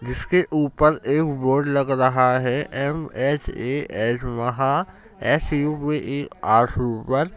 जिसके ऊपर एक बोर्ड लग रहा है एम.एच.ए.एच. वहां S U P R super --